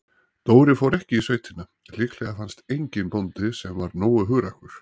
Dóri fór ekki í sveitina, líklega fannst enginn bóndi, sem var nógu hugrakkur.